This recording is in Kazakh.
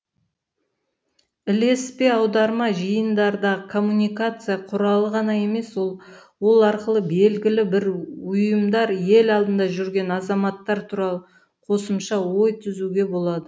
ілеспе аударма жиындардағы коммуникация құралы ғана емес ол арқылы белгілі бір ұйымдар ел алдында жүрген азаматтар туралы қосымша ой түзуге болады